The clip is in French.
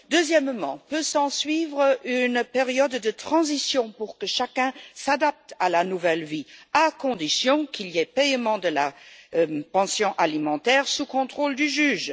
Ensuite, il peut s'ensuivre une période de transition pour que chacun s'adapte à sa nouvelle vie, à condition qu'il y ait paiement de la pension alimentaire sous le contrôle du juge.